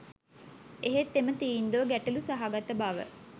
එහෙත් එම තීන්දුව ගැටළු සහගත බව